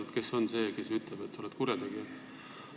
Kes ikkagi on see, kes võib öelda, et sa oled kurjategija?